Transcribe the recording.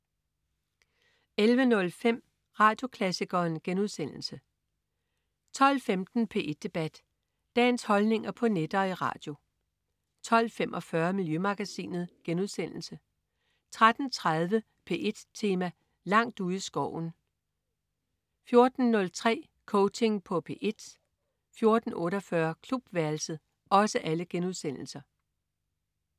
11.05 Radioklassikeren* 12.15 P1 Debat. Dagens holdninger på net og i radio 12.45 Miljømagasinet* 13.30 P1 Tema: Langt ude i skoven* 14.03 Coaching på P1* 14.48 Klubværelset*